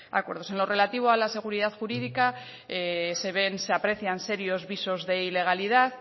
acuerdos en lo relativo a la seguridad jurídica se ven se aprecian serios visos de ilegalidad